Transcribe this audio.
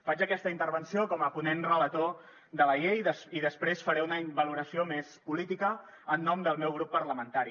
faig aquesta intervenció com a ponent relator de la llei i després faré una valoració més política en nom del meu grup parlamentari